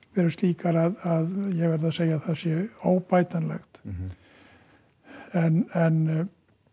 eru slíkar að ég verð að segja að það sé óbætanlegt en